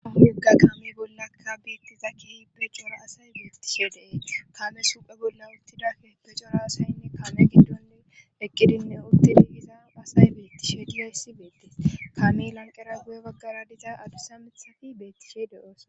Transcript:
Aha yogga qaami bollaka biittizakki pecora asay biitishe deei kame suphe bolla uttidake pecora asayinne kaame giddoni eqqidinne uttini iza asay biittishe diyayssi beettes kami lanqera gu7e baggara diza adusamithafi beettishe deoos.